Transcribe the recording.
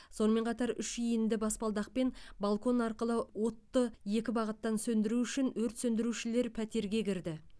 сонымен қатар үш иінді баспалдақпен балкон арқылы отты екі бағыттан сөндіру үшін өрт сөндірушілер пәтерге кірді